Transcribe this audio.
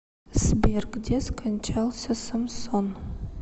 сбер где скончался самсон